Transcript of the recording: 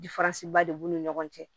ba de b'u ni ɲɔgɔn cɛ